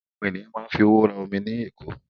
Àwọn ènìyàn máa ń fi owó rà omi ní ẹ̀kọ́.